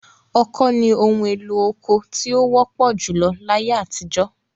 Ọkọ́ ni ohun-èlo oko tí ó wọ́pọ̀ júlọ láyé àtijọ́.